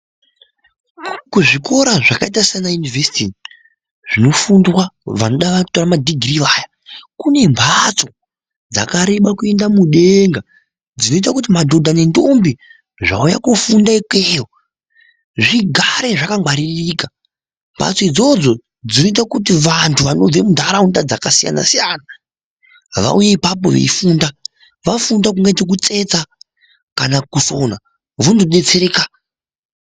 Kuzvikora zvakaita sana yunivhesiti zvinofundwa nevanoda kutora madhigirii vaya kune mbatso dzakareba kuenda mudenga zvinoita kuti madhodha nendombi zvaiya kofunda ikweyo zvigare zvakangwaririka mbatso idzodzo dzinoita kuti vantu vanobve muntaraunda dzakasiyana siyana vaiye ipapo veifunda vafunde kungaita kutsetsa kana kusina vondodetsereka.